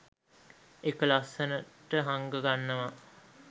එක ලස්සනට හංග ගන්නවා